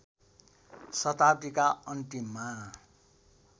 शताब्दीका अन्तिममा